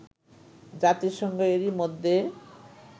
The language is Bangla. জাতিসংঘ এরই মধ্যে